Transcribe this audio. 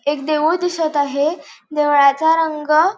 एक देऊळ दिसत आहे देवळाचा रंग--